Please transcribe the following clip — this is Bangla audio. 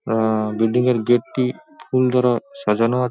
আ-আ-আ বিল্ডিং -এর গেট -টি ফুল দ্বারা সাজানো ।